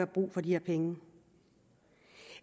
brug for de her penge